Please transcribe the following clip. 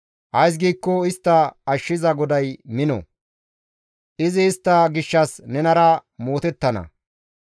ays giikko istta ashshiza GODAY mino; izi istta gishshas nenara mootettana.